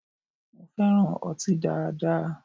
Mo fẹran ọti daada